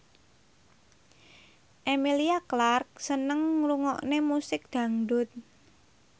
Emilia Clarke seneng ngrungokne musik dangdut